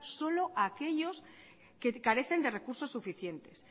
solo a aquellos que carecen de recursos suficientes